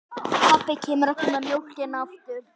Smulluð þið strax saman?